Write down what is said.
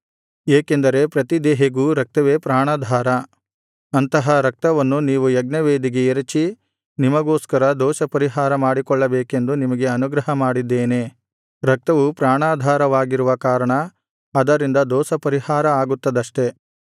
ಏಕೆಂದರೆ ಪ್ರತಿದೇಹಿಗೂ ರಕ್ತವೇ ಪ್ರಾಣಾಧಾರ ಅಂತಹ ರಕ್ತವನ್ನು ನೀವು ಯಜ್ಞವೇದಿಗೆ ಎರಚಿ ನಿಮಗೋಸ್ಕರ ದೋಷಪರಿಹಾರ ಮಾಡಿಕೊಳ್ಳಬೇಕೆಂದು ನಿಮಗೆ ಅನುಗ್ರಹ ಮಾಡಿದ್ದೇನೆ ರಕ್ತವು ಪ್ರಾಣಾಧಾರವಾಗಿರುವ ಕಾರಣ ಅದರಿಂದ ದೋಷಪರಿಹಾರ ಆಗುತ್ತದಷ್ಟೆ